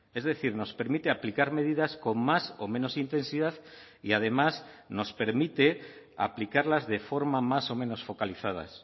es decir nos permite aplicar medidas con más o menos intensidad y además nos permite aplicarlas de forma más o menos focalizadas